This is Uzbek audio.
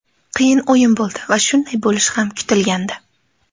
Qiyin o‘yin bo‘ldi va shunday bo‘lishi ham kutilgandi.